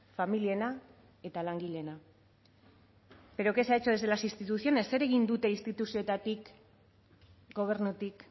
familiena eta langileena pero qué se ha hecho desde las instituciones zer egin dute instituzioetatik gobernutik